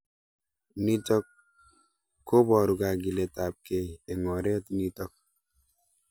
Nitok koparu kakilet ab kei eng' oret nitok